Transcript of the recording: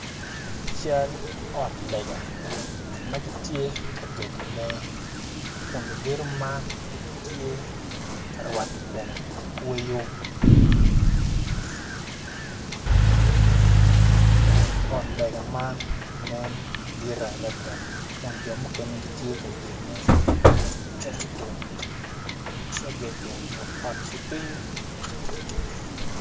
Cal ot lega ma gitye ka gedone kun lugedo man gitye ka rwato kome ki kweyo ot lega man nen dit adada jo mukene gitye ka gedone tye ka gedo but ot ki piny.